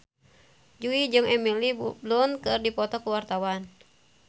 Jui jeung Emily Blunt keur dipoto ku wartawan